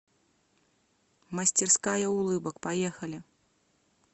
мастерская улыбок поехали